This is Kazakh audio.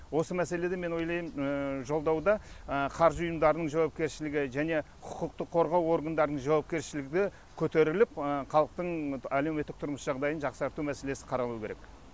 осы мәселеде мен ойлаймын жолдауда қаржы ұйымдарының жауапкершілігі және құқықтық қорғау органдарының жауапкершілігі көтеріліп халықтың әлеуметтік тұрмыстық жағдайын жақсарту мәселесі қаралуы керек